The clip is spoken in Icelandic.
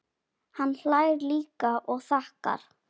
Hann hlær líka og þakkar.